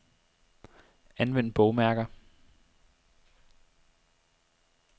Anvend bogmærker.